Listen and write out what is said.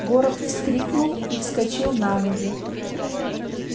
горов вскрикнул и вскочил на ноги